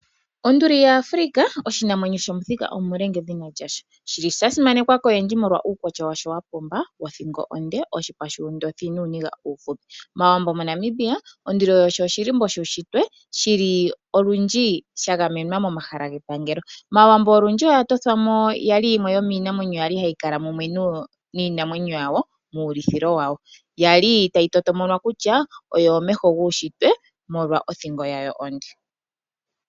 Onduli yaAfrica oshinamwenyo shomu thika omule ngedhina lyasho. Shili sha simanekwa koyendji molwa uukwatya washo wapumba wothika onde, oshipa shuundothi nuuniga uufupi. MAawambo moNamibia onduli oyo oshilimbo shishitwe. Olundji sha gamenwa momahala gepangelo. Maawambo olundji oya tothwamo yali yimwe yomiinamwenyi yali hayi kala niinamwenyo yawo mu ulithilo wayo. Yali tayi toto monwa kutya oyo omeho guushitwe molwa othingo yawo onde.